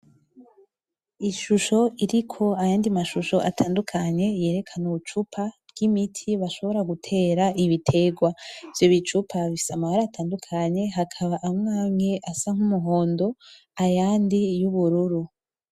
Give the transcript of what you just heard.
Ishusho iriko ayandi mashusho atandukanye yerekana ubucupa bw'imiti bashobora gutera ibitegwa, ivyo bicupa bifise amabara atandukanye harimwo amwe amwe asa nk'umuhondo ayandi y'ubururu.